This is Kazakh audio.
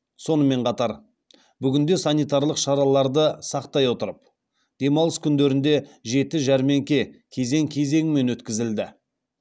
сонымен қатар бүгінде санитарлық шараларды сақтай отырып демалыс күндерінде жеті жәрмеңке кезең кезеңімен өткізілді